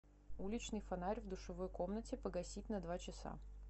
уличный фонарь в душевой комнате погасить на два часа